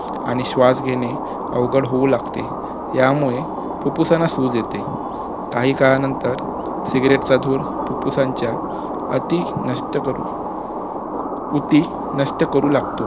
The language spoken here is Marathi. आणि श्वास घेणे अवघड होऊ लागते यामुळे फुप्फुसांना सुझ येते काही काळानंतर सिगरेटचा धूर फुप्फुसाच्या अतिनष्टकरू ऊती नष्ट करू लागतो